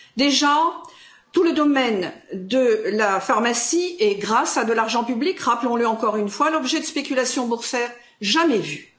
Déjà, tout le domaine de la pharmacie et grâce à de l'argent public, rappelons le encore une fois fait l'objet de spéculations boursières jamais vues.